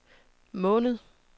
måned